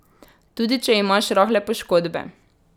Tudi če imaš rahle poškodbe.